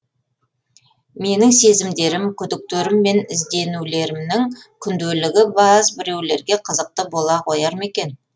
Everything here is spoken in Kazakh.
менің сезімдерім күдіктерім мен ізденулерімнің күнделігі баз біреулерге қызықты бола қояр ма екен